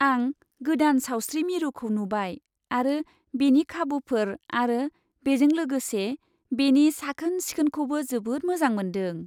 आं गोदान सावस्रि मिरुखौ नुबाय आरो बेनि खाबुफोर आरो बेजों लोगोसे बेनि साखोन सिखोनखौबो जोबोद मोजां मोन्दों।